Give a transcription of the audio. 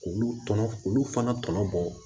K'olu tɔnɔ k'olu fana tɔnɔ bɔ